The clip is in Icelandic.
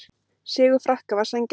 Sigur Frakka var sanngjarn